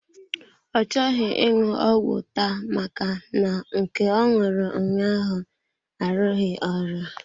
Ọ chọghị ịṅụ ọgwụ taa maka na nke ọ ṅụrụ ụnyaahụ arughi ọrụ.